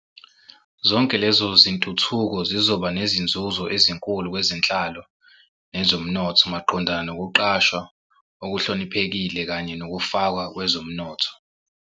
Zonke lezo zintuthuko zizoba nezinzuzo ezinkulu kwezenhlalo nezomnotho maqondana nokuqashwa okuhloniphekile kanye nokufakwa kwezomnotho.